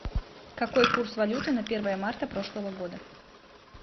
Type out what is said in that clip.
какой курс валюты на первое марта прошлого года